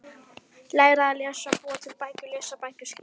Læra að lesa- búa til bækur- lesa bækur- skrifa